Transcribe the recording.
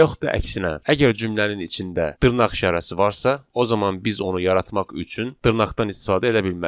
Və yaxud da əksinə, əgər cümlənin içində dırnaq işarəsi varsa, o zaman biz onu yaratmaq üçün dırnaqdan istifadə edə bilmərik.